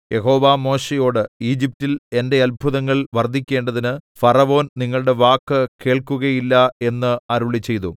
യഹോവ മോശെയോട് ഈജിപ്റ്റിൽ എന്റെ അത്ഭുതങ്ങൾ വർദ്ധിക്കേണ്ടതിന് ഫറവോൻ നിങ്ങളുടെ വാക്ക് കേൾക്കുകയില്ല എന്ന് അരുളിച്ചെയ്തു